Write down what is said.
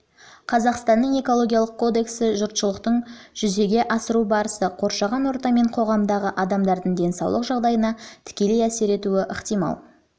қазақстанның экологиялық кодексі жұртшылықтың жүзеге асырылу барысы қоршаған орта мен қоғамдағы адамдардың денсаулық жағдайына тікелей әсер етуі ықтимал заң